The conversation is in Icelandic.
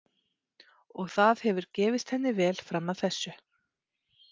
Og það hefur gefist henni vel fram að þessu.